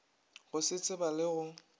go se tseba le go